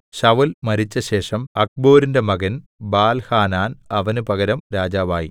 ശൌല്‍ മരിച്ചശേഷം അക്ബോരിന്റെ മകൻ ബാൽഹാനാൻ അവന് പകരം രാജാവായി